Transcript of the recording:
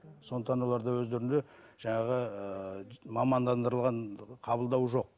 сондықтан оларда өздерінде жаңағы ыыы мамандандырылған қабылдау жоқ